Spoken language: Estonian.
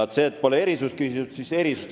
Nüüd sellest, et pole küsitud erisust.